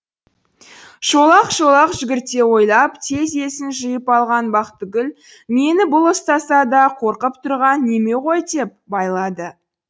шолақ шолақ жүгірте ойлап тез есін жиып алған бақтығұл мені бұл ұстаса да қорқып тұрған неме ғой деп байлады